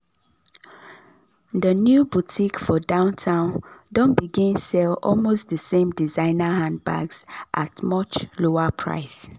di new boutique for downtown don begin sell almost d same designer handbags at much lower price.